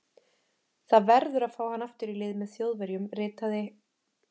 Það verður að fá hann aftur í lið með Þjóðverjum ritaði